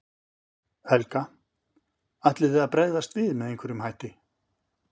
Helga: Ætlið þið að bregðast við með einhverjum hætti?